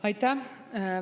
Aitäh!